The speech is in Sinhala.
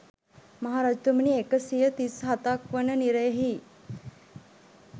මහ රජතුමනි, එක සිය තිස් හතක් වන නිරයෙහි